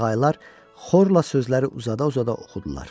qağaylar xorla sözləri uzada-uzada oxudular.